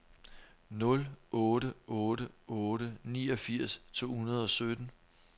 nul otte otte otte niogfirs to hundrede og sytten